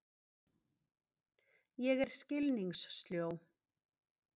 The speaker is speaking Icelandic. Ég er skilningssljó.